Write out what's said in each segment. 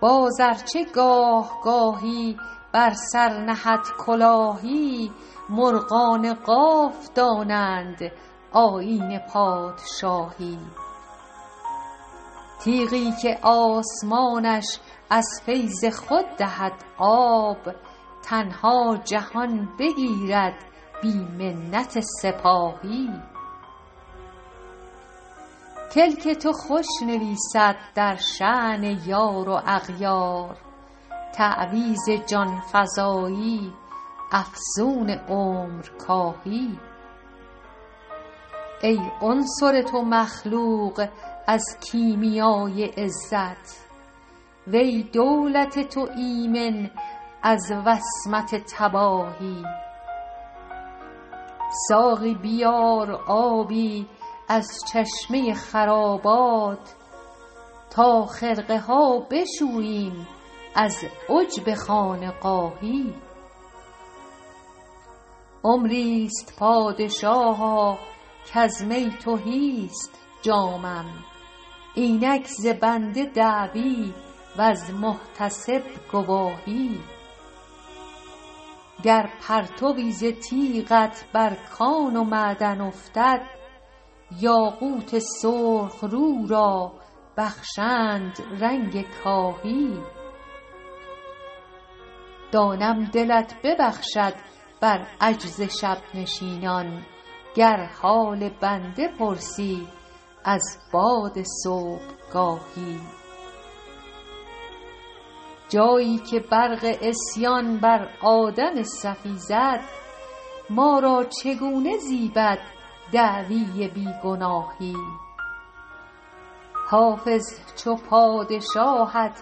باز ار چه گاه گاهی بر سر نهد کلاهی مرغان قاف دانند آیین پادشاهی تیغی که آسمانش از فیض خود دهد آب تنها جهان بگیرد بی منت سپاهی کلک تو خوش نویسد در شأن یار و اغیار تعویذ جان فزایی افسون عمرکاهی ای عنصر تو مخلوق از کیمیای عزت و ای دولت تو ایمن از وصمت تباهی ساقی بیار آبی از چشمه خرابات تا خرقه ها بشوییم از عجب خانقاهی عمری ست پادشاها کز می تهی ست جامم اینک ز بنده دعوی وز محتسب گواهی گر پرتوی ز تیغت بر کان و معدن افتد یاقوت سرخ رو را بخشند رنگ کاهی دانم دلت ببخشد بر عجز شب نشینان گر حال بنده پرسی از باد صبحگاهی جایی که برق عصیان بر آدم صفی زد ما را چگونه زیبد دعوی بی گناهی حافظ چو پادشاهت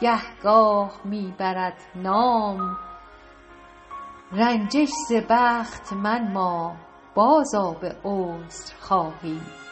گهگاه می برد نام رنجش ز بخت منما بازآ به عذرخواهی